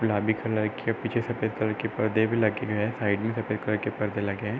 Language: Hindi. गुलाबी कलर के पीछे सफ़ेद कलर के परदे भी लगे हुए है। साइड में सफ़ेद कलर के पर्दे लगे हैं।